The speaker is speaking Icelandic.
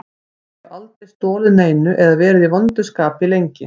Ég hef aldrei stolið neinu eða verið í vondu skapi lengi.